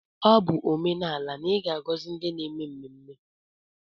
Ọ bụ omenala na ị ga-agọzi ndi n'eme mmemme.